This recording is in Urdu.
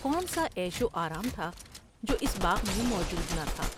کون سا عیش و آرام تھا جو اس باغ میں موجود نہ تھا ۔